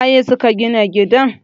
su waye suka Gina gidan?